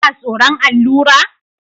Kana tsoron allura?